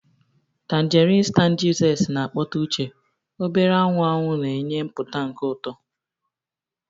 Tangerines 'tangy zest na-akpọte uche, obere anwụ anwụ na-enye mpụta nke ụtọ.